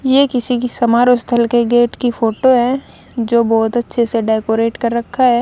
ये किसी की समारोह स्थल के गेट की फोटो है जो बहोत अच्छे से डेकोरेट कर रखा है।